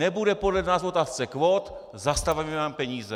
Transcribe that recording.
Nebude podle nás v otázce kvót, zastavíme vám peníze!